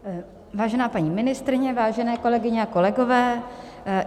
Vážená paní ministryně, vážené kolegyně a kolegové.